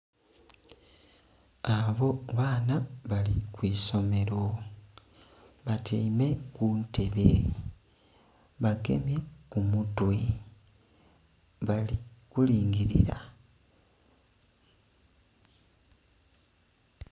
Abo baana bali kwiisomero batyaime kuntebe bagemye kumutwe abali kulingirira..